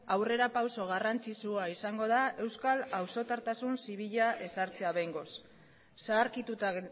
aurrera pausu garrantzitsua izango da euskal zibila ezartzea behingoz zaharkituta